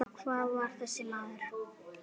Hver var þessi maður?